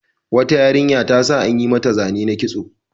Wata yarinya ta sa an yi mata zane na kitso.